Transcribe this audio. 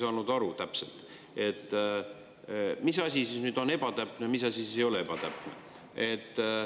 Ma nüüd päris täpselt ei saanud aru, mis asi on ebatäpne ja mis asi ei ole ebatäpne.